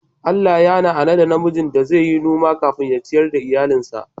Allah ya la'anan da na miji cewa zai yi noma kafin ya ciyar iyallin sa.